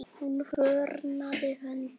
Hún fórnaði höndum.